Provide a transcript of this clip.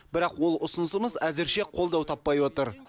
бірақ ол ұсынысымыз әзірше қолдау таппай отыр